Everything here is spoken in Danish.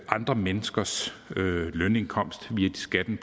andre menneskers lønindkomst via skatten